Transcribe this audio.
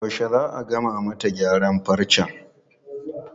Yaushe za a gama mata gyaran farcen?